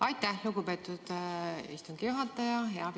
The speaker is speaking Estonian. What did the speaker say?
Aitäh, lugupeetud istungi juhataja!